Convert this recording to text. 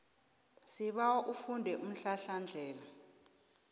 sibawa ufunde umhlahlandlela